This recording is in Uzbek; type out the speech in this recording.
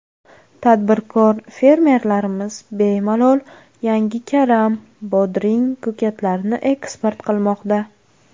Tadbirkor, fermerlarimiz bemalol yangi karam, bodring, ko‘katlarni eksport qilmoqda.